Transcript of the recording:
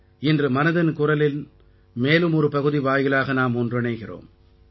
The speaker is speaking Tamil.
இன்று மனதின் குரலின் மேலும் ஒரு பகுதி வாயிலாக நாம் ஒன்றிணைகிறோம்